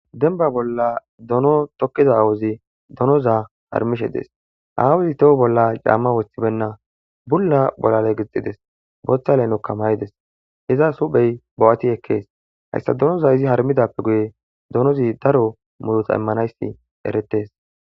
Denba bolla dono tokkiza aawozi donoza harmishe dees awuzi toho bolla caamma woththibenna bulla bolale gixxides bootha leynokka may'ides hiza suphey bo'ati ekkees hayssa donoza izi harmidappe guye donozi daro murota immanayssi eretees.